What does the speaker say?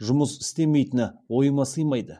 жұмыс істемейтіні ойыма сыймайды